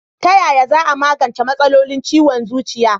Tayaya za a magance matsalolin ciwon zuciya?